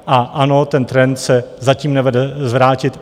A ano, ten trend se zatím nevede zvrátit.